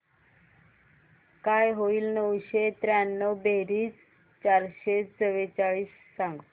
काय होईल नऊशे त्र्याण्णव बेरीज चारशे चव्वेचाळीस सांग